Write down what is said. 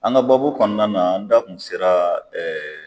An ga baabu kɔnɔna na n da kun sera ɛɛ